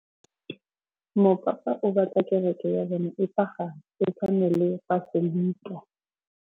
Mopapa o batla kereke ya bone e pagame, e tshwane le paselika.